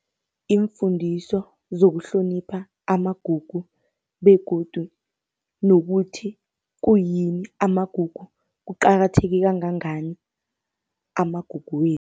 Iimfundiso zokuhlonipha amagugu begodu nokuthi kuyini amagugu, kuqakatheke kangangani amagugu wethu.